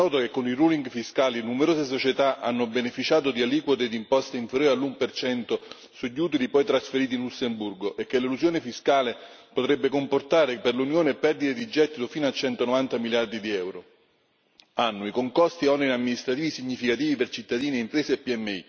È noto che con i ruling fiscali numerose società hanno beneficiato di aliquote d'imposta inferiore all'1 sugli utili poi trasferiti in Lussemburgo e che l'elusione fiscale potrebbe comportare per l'Unione perdite di gettito fino a 190 miliardi di euro annui con costi e oneri amministrativi significativi per cittadini e imprese PMI.